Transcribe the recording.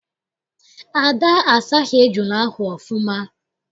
Ada asaghị ejula ahụ ọfụma.